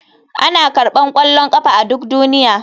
Ana karɓar ƙwallon ƙafa a duk duniya.